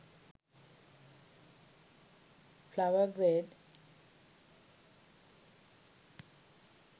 flower garde